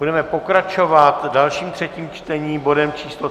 Budeme pokračovat dalším třetím čtením, bodem číslo